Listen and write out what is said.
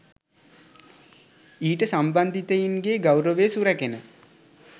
ඊට සම්බන්ධිතයින්ගේ ගෞරවය සුරැකෙන